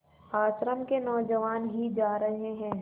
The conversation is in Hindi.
आश्रम के नौजवान ही जा रहे हैं